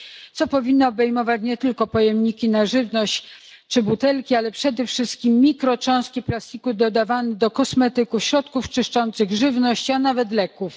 Działanie takie powinno obejmować nie tylko pojemniki na żywność czy butelki, ale przede wszystkim mikrocząstki plastiku dodawane do kosmetyków, środków czyszczących, żywności a nawet leków.